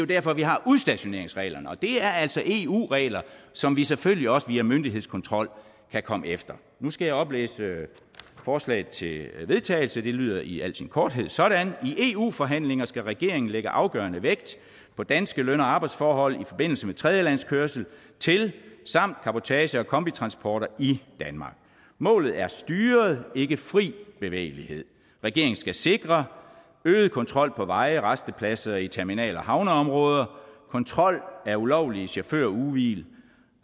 derfor vi har udstationeringsreglerne og det er altså eu regler som vi selvfølgelig også via myndighedskontrol kan komme efter nu skal jeg oplæse forslaget til vedtagelse og det lyder i al sin korthed sådan i eu forhandlinger skal regeringen lægge afgørende vægt på danske løn og arbejdsforhold i forbindelse med tredjelandskørsel til samt cabotage og kombitransporter i danmark målet er styret ikke fri bevægelighed regeringen skal sikre • øget kontrol på veje rastepladser i terminal og havneområder • kontrol af ulovlige chaufførugehvil •